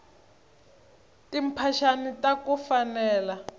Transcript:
timphaxani taku fanela